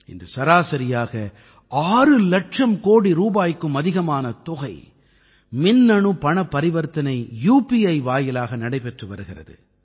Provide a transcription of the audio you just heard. இன்று சராசரியாக 6 இலட்சம் கோடி ரூபாய்க்கும் அதிகமான தொகை மின்னணு பணப்பரிவர்த்தனை உபி வாயிலாக நடைபெற்று வருகிறது